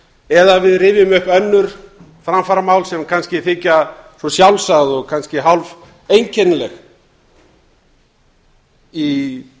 eða við rifjum upp önnur framfaramál sem kannski þykja sjálfsögð og kannski hálf einkennileg í